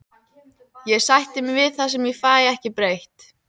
Ég sætti mig við það sem ég fæ ekki breytt.